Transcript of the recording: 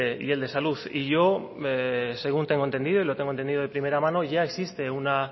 y el de salud y yo según tengo entendido y lo tengo entendido de primera mano ya existe